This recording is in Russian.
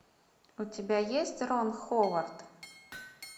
у тебя есть рон ховард